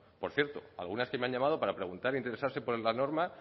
por cierto algunas que me han llamado para preguntar e interesarse por la norma